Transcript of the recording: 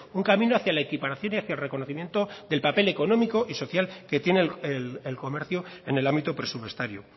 un camino hacia la equiparación y hacia el reconocimiento del papel económico y social que tiene el comercio en el ámbito presupuestario